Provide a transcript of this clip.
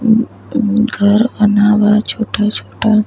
अ घर बनावा छोटा-छोटा --